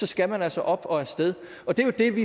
skal man altså op og afsted det er jo det vi